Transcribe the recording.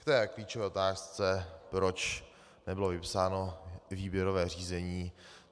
K té klíčové otázce, proč nebylo vypsáno výběrové řízení.